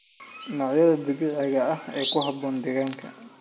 Noocyada dabiiciga ah ee ku habboon deegaanka.